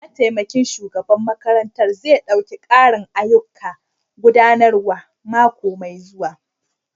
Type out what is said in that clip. Mataimakin shugaban makarantar zai ɗauki ƙarin ayyukan gudanarwa mako mai zuwa.